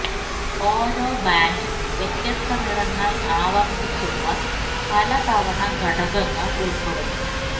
ഓരോ ബാൻഡ് വ്യത്യസ്ത നിറങ്ങൾ ആവർത്തിച്ചുള്ള പല തവണ ഘടകങ്ങൾ ഉൾപ്പെടുന്നു